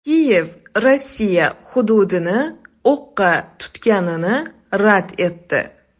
Kiyev Rossiya hududini o‘qqa tutganini rad etdi.